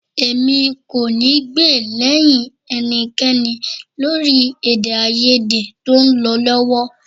Èmi ò ní gbè lẹ́yìn ẹnikẹ́ni lórí èdèàìyedè tó ń lọ lọ́wọ́